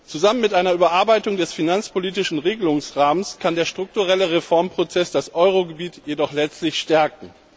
Zusammen mit einer Überarbeitung des finanzpolitischen Regelungsrahmens kann der strukturelle Reformprozess das Euro Gebiet jedoch letztlich stärken.